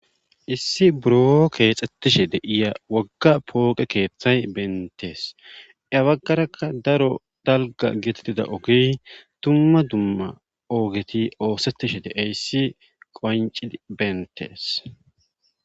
Issi buro keexxettishe deiya wagga pooqe keeththay bentees abaggarakka daro dalga gitattida ogi tumma dumma oogeti oosettishe deeyssi qoncid bentees.